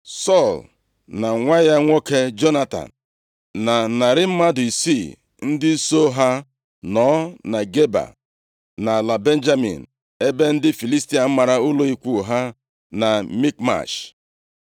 Sọl na nwa ya nwoke Jonatan, na narị mmadụ isii ndị soo ha nọ na Geba nʼala Benjamin, ebe ndị Filistia mara ụlọ ikwu ha na Mikmash.